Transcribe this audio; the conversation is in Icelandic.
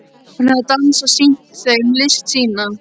Hún hafði dansað, sýnt þeim list sína.